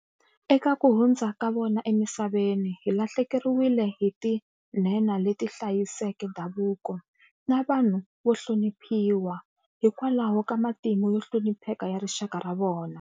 Eka ku hundza ka vona emisaveni, hi lahlekeriwile hi tinhenha leti ti hlayiseke ndhavuko, na vanhu vo hloniphiwa hikwalaho ka matimu yo hlonipheka ya rixaka ra vona.